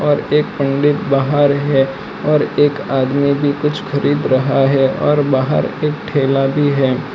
और एक पंडित बाहर है और एक आदमी भी कुछ खरीद रहा है और बाहर एक ठेला भी है।